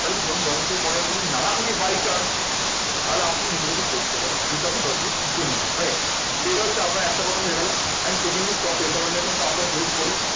দশ বছর পরে যদি আমি না থাকি by chance তাহলে আপনি নিজে থেকে করতে পারবেন যেহেতু আপনি দশ বছরে শিখে নিয়েছেন right এটা হচ্ছে আপনার একটা কথা হয়ে গেলো। and secondly stock recommendations তো আমরা help করি